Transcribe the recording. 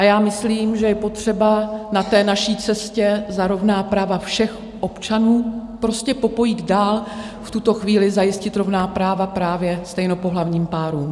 A já myslím, že je potřeba na té naší cestě za rovná práva všech občanů prostě popojít dál, v tuto chvíli zajistit rovná práva právě stejnopohlavním párům.